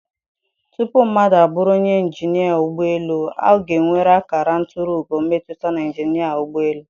Tupu mmadụ abụrụ onye injinia ụgbọ elu, ọ ga-enwerịrị akara nturu ugo mmụta na injinia ụgbọ elu.